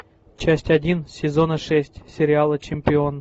часть один сезона шесть сериала чемпион